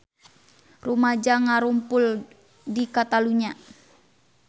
Rumaja ngarumpul di Catalunya